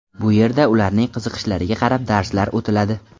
Bu yerda ularning qiziqishlariga qarab darslar o‘tiladi.